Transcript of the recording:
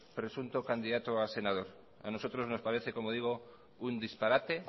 presunto candidato a senador a nosotros nos parece como digo un disparate